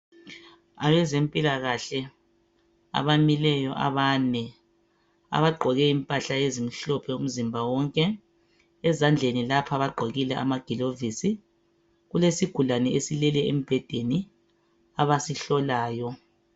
Abezempilakahle abamileyo abane abagqoke impahla ezimhlophe umzimba wonke, ezandleni lapha bagqokile amagilovisi, kulesigulane esileleyo embhedeni abasihlolayo.